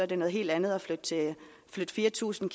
det noget helt andet at flytte fire tusind